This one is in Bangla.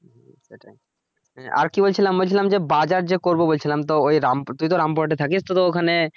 হ্যা আর কি বলছিলাম, বলছিলাম যে বাজার যে করব বলছিলাম তো ওই রামপুর তুই তো রামপুর হাটের থাকিস তো তোর ওখানে।